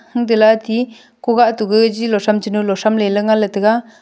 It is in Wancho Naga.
hungte lati kugah togi gilo thram chinolo thramley nganley tega.